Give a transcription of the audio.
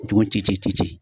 Tugun ci ci ci ci ci